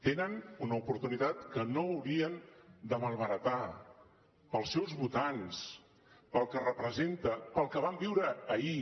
tenen una oportunitat que no haurien de malbaratar pels seus votants pel que representa pel que vam viure ahir